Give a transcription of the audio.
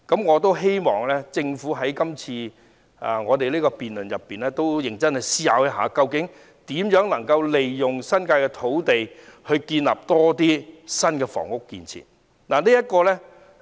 我希望政府在今次的辯論中認真思考一下，如何利用新界的土地，興建更多新房屋。